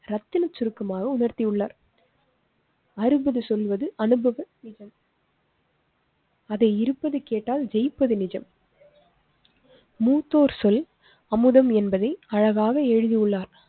ரத்தினச் சுருக்கமாக உணர்த்தியுள்ளார். அறுவது சொல்வது அனுபவங்கள். அதை இருபது கேட்டால் ஜெயிப்பது நிஜம். மூத்தோர் சொல் அமுதம் என்பதை அழகாக எழுதியுள்ளார்.